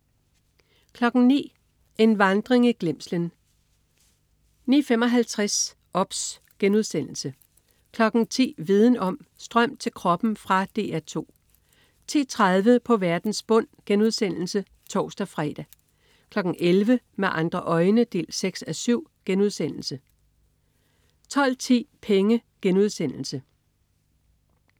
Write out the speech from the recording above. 09.00 En vandring i glemslen 09.55 OBS* 10.00 Viden Om: Strøm til kroppen. Fra DR 2 10.30 På verdens bund* (tors-fre) 11.00 Med andre øjne 6:7* 12.10 Penge*